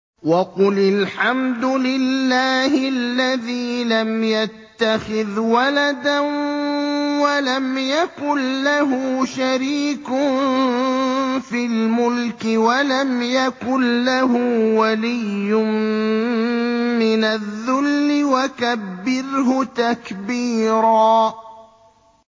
وَقُلِ الْحَمْدُ لِلَّهِ الَّذِي لَمْ يَتَّخِذْ وَلَدًا وَلَمْ يَكُن لَّهُ شَرِيكٌ فِي الْمُلْكِ وَلَمْ يَكُن لَّهُ وَلِيٌّ مِّنَ الذُّلِّ ۖ وَكَبِّرْهُ تَكْبِيرًا